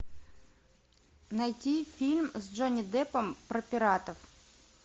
найти фильм с джонни деппом про пиратов